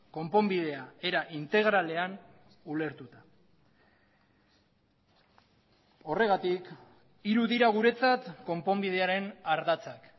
konponbidea era integralean ulertuta horregatik hiru dira guretzat konponbidearen ardatzak